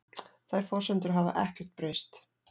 Þær forsendur hafi ekkert breyst